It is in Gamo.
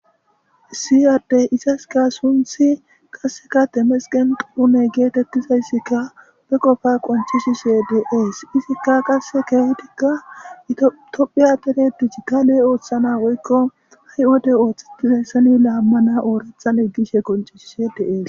siyade isaska sunthi qasseka temesqen quune geetettizayssikka be qofa qoncishi se deees izikka qasse keehtikka itophiya deredich kale ooththana woykko hay wode ooththettizayssani laammana oorathan eggishe qoncishi se dees